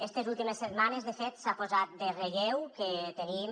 estes últimes setmanes de fet s’ha posat en relleu que tenim